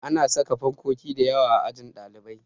Ana saka fankoki dayawa a ajin ɗalibai